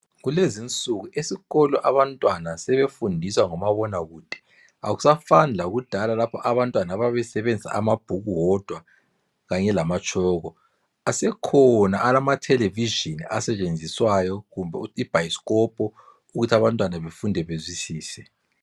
Kulezi insuku esikolo abantwana sebefundiswa ngomabonakude akusafani lakudala lapho abantwana ababesenzisa amabhuku wodwa kanye lamatshoko, asekhona amatelevision asetshenziswayo kumbe ibhayiscopo ukuthi abantwana befunde bezwisise.